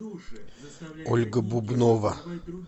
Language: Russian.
ольга бубнова